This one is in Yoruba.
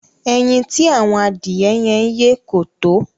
Ẹyin tí ạ̀wọn adìẹ yẹn yé kò tó.